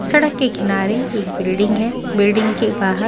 सड़क के किनारे एक बिल्डिंग है बिल्डिंग के बाहर--